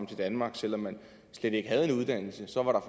til danmark selv om man slet ikke havde en uddannelse så var der